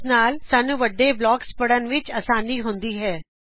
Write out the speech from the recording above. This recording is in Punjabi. ਇਸ ਨਾਲ ਸਾਨੂੰ ਵੱਡੇ ਬਲਾਕਸ ਪੜ੍ਹਨ ਵਿੱਚ ਸੌਖ ਹੁੰਦੀ ਹੈ